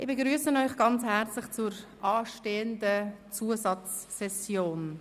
Ich begrüsse Sie herzlich zur anstehenden Zusatzsession.